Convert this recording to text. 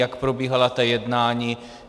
Jak probíhala ta jednání?